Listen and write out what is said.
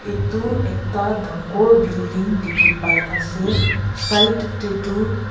edu ekta dangor building dikhipaiase side tae tu.